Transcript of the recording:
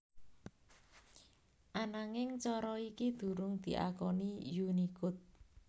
Ananging cara iki durung diakoni Unicode